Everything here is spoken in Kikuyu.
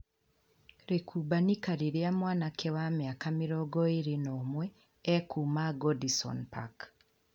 Rĩkubanĩka rĩrĩa mwanake wa mĩaka mĩrongo ĩĩrĩ na umwe ekuma Goodison Park